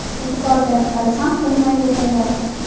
E’tibor berib qarasam, tinmay yo‘talyapti.